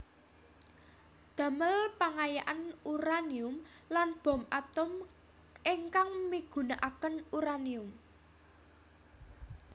Damel pengayaan uranium lan bom atom ingkang migunakaken uranium